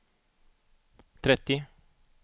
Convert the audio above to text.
trettio